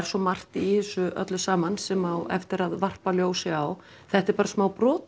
svo margt í þessu öllu saman sem á eftir að varpa ljósi á þetta er bara smá brot